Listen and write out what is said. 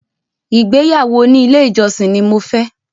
Ìgbéyàwó òní ilé ìjọsìn ni mo fẹ́